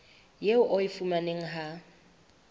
eo o e fumanang ha